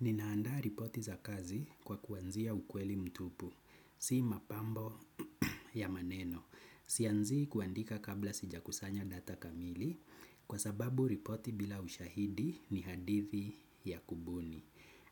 Ninaandaa ripoti za kazi kwa kuanzia ukweli mtupu, si mapambo ya maneno. Sianzii kuandika kabla sijakusanya data kamili kwa sababu ripoti bila ushahidi ni hadithi ya kubuni.